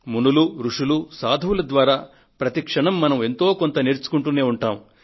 మునులు రుషులు సాధువుల ద్వారా ప్రతి క్షణం మనం ఎంతో కొంత నేర్చుకుంటూనే ఉంటాము